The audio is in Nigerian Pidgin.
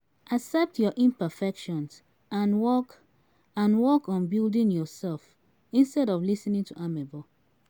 Accept your imperfections and work and work on building yourself instead of lis ten ing to amebo